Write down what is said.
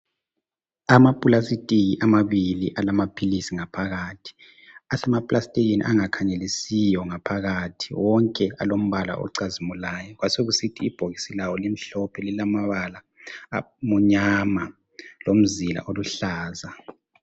ama plastic amabili alamaphilisi ngaphakathi asema plastikini angakhangelisiyo ngaphakathi wonke alombala ocazimulayo kwasokusithi ibhokisi lawo limhlophe lilamabala amnyama lomzila oluhlaza